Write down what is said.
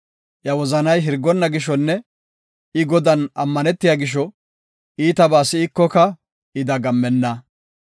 Iya wozanay hirgonna gishonne I Godan ammanetiya gisho, iitabaa si7ikoka I dagammenna;